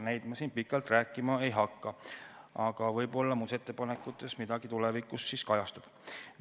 Nendest ma siin pikalt rääkima ei hakka, aga võib-olla muudatusettepanekutes midagi tulevikus kajastub.